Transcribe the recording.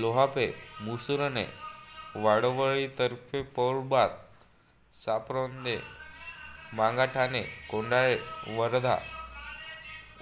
Lohape Musarne Wadwali Tarfe Paulbar Saparonde Mangathane Kondhale Wardha